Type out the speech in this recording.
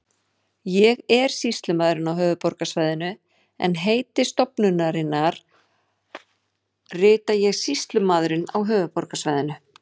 Ég er sýslumaðurinn á höfuðborgarsvæðinu en heiti stofnunarinnar rita ég Sýslumaðurinn á höfuðborgarsvæðinu.